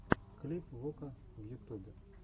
клип вока в ютубе